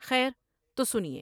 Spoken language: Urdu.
خیر تو سنیے ۔